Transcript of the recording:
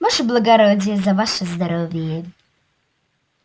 ваше благородие за ваше здоровье